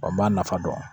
Wa n b'a nafa dɔn